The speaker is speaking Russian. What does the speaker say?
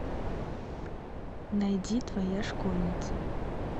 найди твоя школьница